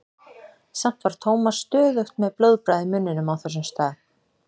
Samt var Thomas stöðugt með blóðbragð í munninum á þessum stað.